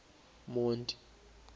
monti